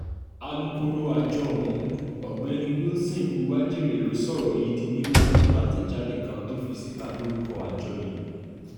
alūkkóró àjọ ọ̀hún ọ̀gbẹ́ni wilson uwájèrè ló sọ̀rọ̀ yìí di mímọ́ nínú àtẹ̀jáde kan tó fi síta lórúkọ àjọ yìí